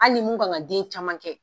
Hali ni mun ka kan den caman kɛ.